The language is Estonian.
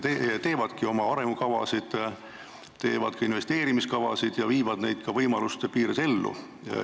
Nad teevad oma arengukavasid, teevad investeerimiskavasid ja viivad neid võimaluste piires ka ellu.